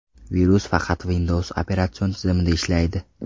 Virus faqat Windows operatsion tizimida ishlaydi.